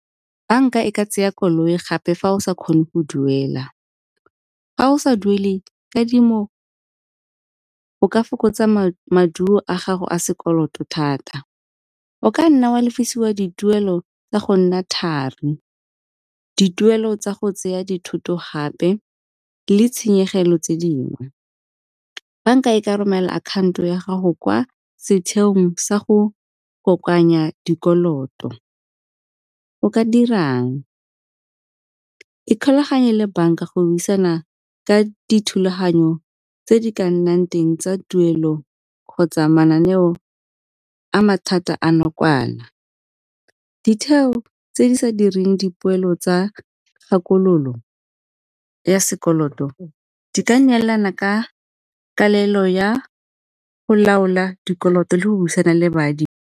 Bank-a e ka tsaya koloi gape fa o sa kgone go duela. Fa o sa duele kadimo o ka fokotsa maduo a gago a sekoloto thata, o ka nna oa lefisiwa dituelo tsa go nna thari. Dituelo tsa go tseya dithoto gape le tshenyegelo tse dingwe. Bank-a e ka romela akhanto ya gago kwa setheong sa go kokoanya dikoloto, o ka dirang, ikgolaganye le bank-a go buisana ka dithulaganyo tse di ka nnang teng tsa tuelo kgotsa mananeo a mathata a nakwana. Ditheo tse di sa direng dipoelo tsa kgakololo ya sekoloto di ka neelana ka kelelo ya go laola dikoloto le go buisana le .